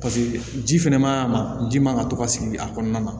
Paseke ji fɛnɛ maɲi a ma ji man kan ka to ka sigi a kɔnɔna na